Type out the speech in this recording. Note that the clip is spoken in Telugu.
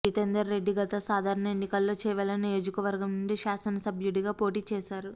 జితెందర్ రెడ్డి గత సాధారణ ఎన్నికల్లో చేవెళ్ల నియోజకవర్గం నుండి శాసనసభ్యుడిగా పోటీ చేశారు